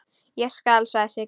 Ég skal, sagði Siggi.